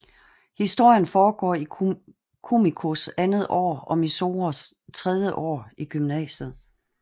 Historien foregår i Kumikos andet år og Mizores tredje år i gymnasiet